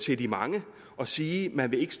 til de mange og sige at man ikke